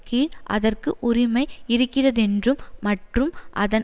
கீழ் அதற்கு உரிமை இருக்கிறதென்றும் மற்றும் அதன்